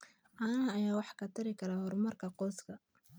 Caanaha ayaa wax ka tari kara horumarka qoyska.